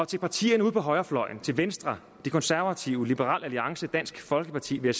til partierne ude på højrefløjen til venstre de konservative liberal alliance dansk folkeparti vil